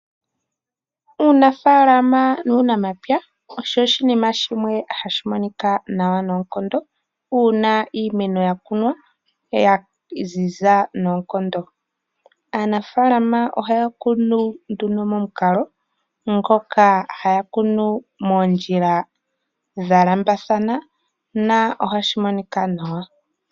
Uunafaalama nuunamapya osho oshinima shimwe hashi monika nawa noonkondo uuna iimeno ya kunwa ya ziza noonkondo. Aanafaalama ohaya kunu momukalo ngoka haya kunu moondjila dha lambathana nohashi monika nawa.